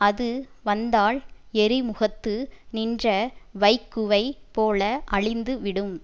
அது வந்தால் எரிமுகத்து நின்ற வைக்குவை போல அழிந்து விடும்